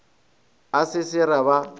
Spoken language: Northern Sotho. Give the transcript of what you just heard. a se se re ba